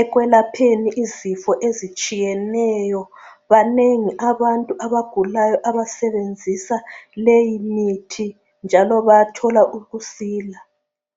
ekwelapheni izifo ezitshiyeneyo, banengi abantu abagulayo abasebenzisa leyi mithi njalo bayathola ukusila.